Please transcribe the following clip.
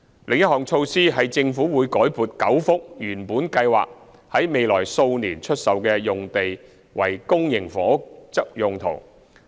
另一項措施是政府已改撥9幅原本計劃在未來數年出售的用地為公營房屋用途。